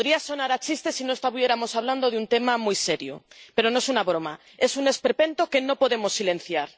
Podría sonar a chiste si no estuviéramos hablando de un tema muy serio, pero no es una broma, es un esperpento que no podemos silenciar.